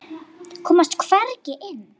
Komast hvergi inn.